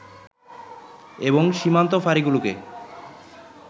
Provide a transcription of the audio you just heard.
এবং সীমান্ত ফাঁড়িগুলোকে